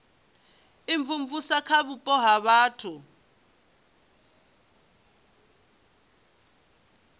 imvumvusa kha vhupo ha vhathu